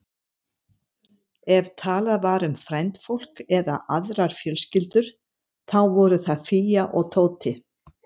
Ef talað var um frændfólk eða aðrar fjölskyldur, þá voru það Fía og Tóti.